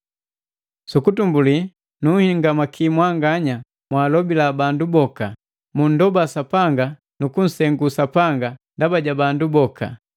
Sukutumbuli nu hingamaki mwanganya mwalobila bandu boka, mundoba Sapanga nu kunsengu Sapanga ndaba ja bandu boka,